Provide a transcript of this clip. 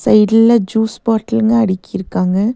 சைட்ல ஜூஸ் பாட்டில்ங்க அடுக்கிருக்காங்க.